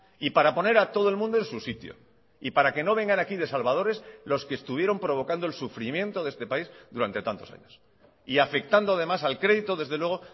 y para poner a todo el mundo en su sitio y para que no vengan aquí de salvadores los que estuvieron provocando el sufrimiento de este país durante tantos años y afectando además al crédito desde luego